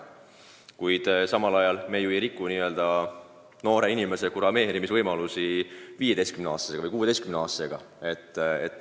Ning me ju ei riku tema võimalusi kurameerida 15- või 16-aastasega.